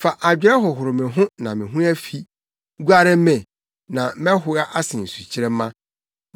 Fa adwerɛ hohoro me ho, na me ho afi; guare me, na mɛhoa asen sukyerɛmma.